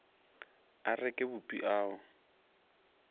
a reke bupi a o